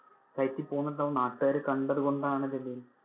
കയറ്റി പോന്നിട്ടുണ്ടാവും. നാട്ടുകാര് കണ്ടതുകൊണ്ട് ആണ് ഇതിൽ